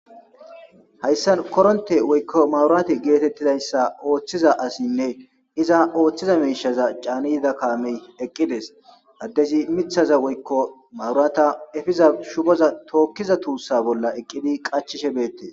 Haysan koronte woykon maburate getetizaysa othiza asiyne iza othiza mishaza chani yida kame eqides adezi mithaza woykon maburata efiza shuboza tokiza tusa bolla eqidi qachishe betes